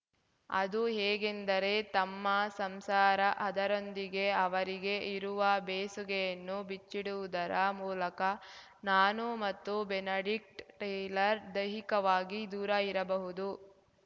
ಅದು ಹೇಗೆಂದರೆ ತಮ್ಮ ಸಂಸಾರ ಅದರೊಂದಿಗೆ ಅವರಿಗೆ ಇರುವ ಬೇಸುಗೆಯನ್ನು ಬಿಚ್ಚಿಡುವುದರ ಮೂಲಕ ನಾನು ಮತ್ತು ಬೆನಡಿಕ್ಟ್ ಟೇಲರ್ ದೈಹಿಕವಾಗಿ ದೂರ ಇರಬಹುದು